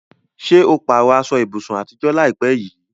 Ṣé o pààrọ̀ aṣọ ibùsùn àtijọ́ láìpẹ́ yìí?